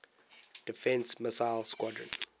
defense missile squadron